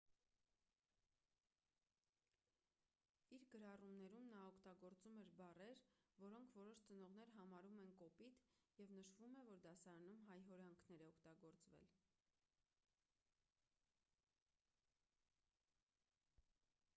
իր գրառումներում նա օգտագործում էր բառեր որոնք որոշ ծնողներ համարում են կոպիտ և նշվում է որ դասարանում հայհոյանքներ է օգտագործել